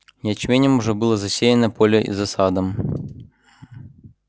ячменём же было засеяно поле и за садом